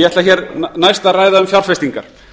ég ætla næst að ræða um fjárfestingar